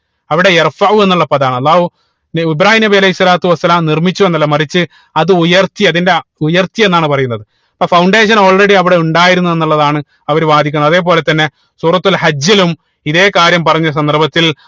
അവിടെ എന്നുള്ള പദമാണ് അള്ളാഹു ൻ ഇബ്രാഹീം നബി അലൈഹി സ്വലാത്തു വസ്സലാം നിർമിച്ചു എന്നല്ല മറിച്ച് അത് ഉയർത്തി അതിന്റെ ആ ഉയർത്തി എന്നാണ് പറയുന്നത് അപ്പൊ Foundation already അവിടെ ഉണ്ടായിരുന്നു എന്നുള്ളതാണ് അവര് വാധിക്കുന്നത് അതേപോലെ തന്നെ സൂറത്തുൽ ഹജ്ജിലും ഇതേ കാര്യം പറഞ്ഞ സന്ദർഭത്തിൽ